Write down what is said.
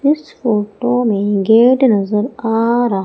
इस फोटो में गेट नजर आ र--